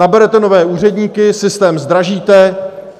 Naberete nové úředníky, systém zdražíte.